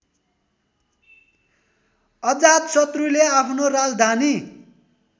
अजातशत्रुले आफ्नो राजधानी